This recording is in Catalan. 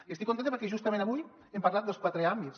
i estic contenta perquè justament avui hem parlat dels quatre àmbits